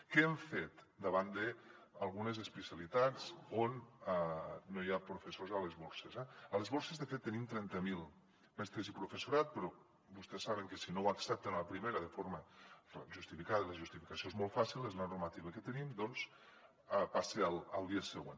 què hem fet davant d’algunes especialitats on no hi ha professors a les borses a les borses de fet tenim trenta mil mestres i professorat però vostès saben que si no ho accepten a la primera de forma justificada i la justificació és molt fàcil és la normativa que tenim doncs passem al dia següent